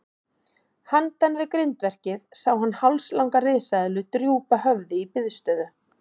Handan við grindverkið sá hann hálslanga risaeðlu drúpa höfði í biðstöðu.